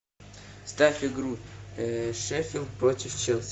ставь игру шеффилд против челси